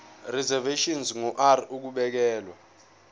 reservation ngur ukubekelwa